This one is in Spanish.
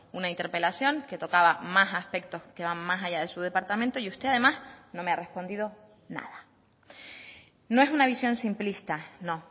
una interpelación que tocaba más aspectos que van más allá de su departamento y usted además no me ha respondido nada no es una visión simplista no